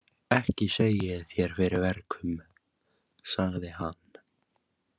Ekki segi ég þér fyrir verkum, sagði hann.